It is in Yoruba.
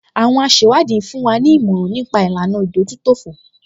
Àwọn asẹ̀wádìí ń fún wa ní ìmọ̀ràn nípa ìlànà ìdójútòfò